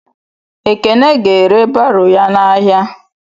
Ekene ga-ere baro ya n'ahịa.